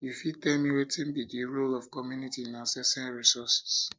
you fit tell me fit tell me wetin be di role of community in accessing resources